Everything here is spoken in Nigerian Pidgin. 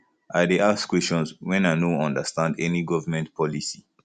i dey ask questions wen i no understand any government policy